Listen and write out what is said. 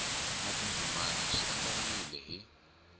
na tindzimana swi andlariwile hi